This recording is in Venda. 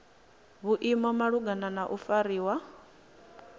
maimo malugana na u fariwa